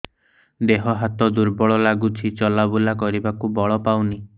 ଦେହ ହାତ ଦୁର୍ବଳ ଲାଗୁଛି ଚଲାବୁଲା କରିବାକୁ ବଳ ପାଉନି